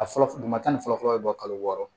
A fɔlɔ duguma tan ni fɔlɔ fɔlɔ bɛ bɔ kalo wɔɔrɔ